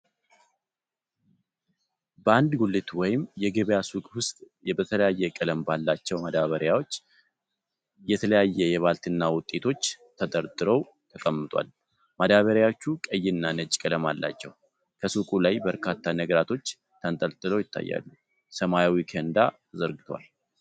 በአንድ ጉሊት ወይም የገበያ ሱቅ ውስጥ በተለያየ ቀለም ባላቸው ማዳበሪያዎች የተለያየ የባልትና ውጤቶች ተደርድሮ ተቀምጧል፤ ማዳበሪያዎቹ ቀይና ነጭ ቀለም አላቸው፤ ከሱቁ ላይ በርካታ ነገራቶች ተንጠልጥለው ይታያሉ፤ ሰማያዊ ኬንዳ ተዘርግቷል።